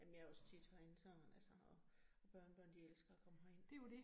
Jamen jeg også tit herinde sådan altså, og og børnebørn de elsker at komme herind